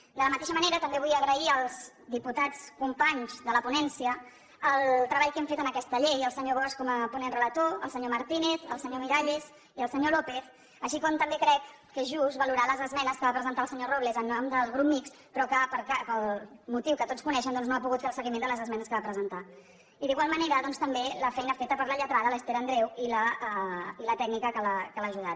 de la mateixa manera també vull agrair als diputats companys de la ponència el treball que hem fet en aquesta llei el senyor bosch com a ponent relator el senyor martínez el senyor miralles i el senyor lópez així com també crec que és just valorar les esmenes que va presentar el senyor robles en nom del grup mixt però que pel motiu que tots coneixen doncs no ha pogut fer el seguiment de les esmenes que va presentar i d’igual manera també la feina feta per la lletrada l’esther andreu i la tècnica que l’ha ajudat